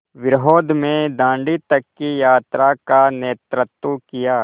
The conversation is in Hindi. विरोध में दाँडी तक की यात्रा का नेतृत्व किया